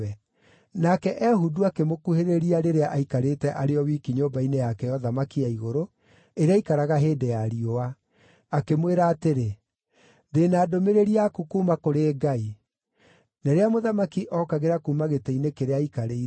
Nake Ehudu akĩmũkuhĩrĩria rĩrĩa aikarĩte arĩ o wiki nyũmba-inĩ yake ya ũthamaki ya igũrũ, ĩrĩa aikaraga hĩndĩ ya riũa. Akĩmwĩra atĩrĩ, “Ndĩ na ndũmĩrĩri yaku kuuma kũrĩ Ngai.” Na rĩrĩa mũthamaki ookagĩra kuuma gĩtĩ-inĩ kĩrĩa aikarĩire,